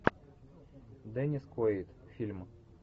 деннис куэйд фильм